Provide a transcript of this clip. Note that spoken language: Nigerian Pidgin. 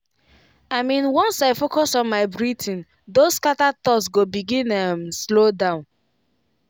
i mean once i focus on my breathing those scattered thoughts go begin um slow down.